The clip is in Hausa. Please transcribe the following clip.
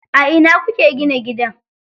A ina kuke gina gidan?